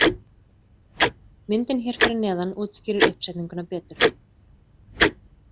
Myndin hér fyrir neðan útskýrir uppsetninguna betur.